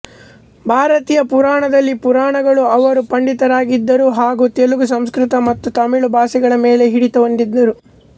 ಭಾರತೀಯ ಪುರಾಣದಲ್ಲಿ ಪುರಾಣಗಳು ಅವರು ಪಂಡಿತರಾಗಿದ್ದರು ಹಾಗು ತೆಲುಗು ಸಂಸ್ಕೃತ ಮತ್ತು ತಮಿಳು ಭಾಷೆಗಳ ಮೇಲೆ ಹಿಡಿತ ಹೊಂದಿದ್ದರು